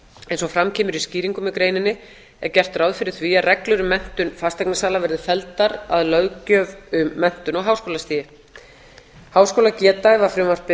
eins og fram kemur í skýringum með greininni er gert ráð fyrir því að reglur um menntun fasteignasala verði felldar að löggjöf um menntun á háskólastigi háskólageta ef frumvarpið